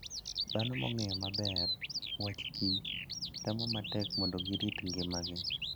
Dhano mong'eyo maber wach kich temo matek mondo girit ngimagi.